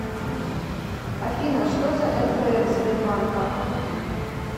афина что за нпф сбербанка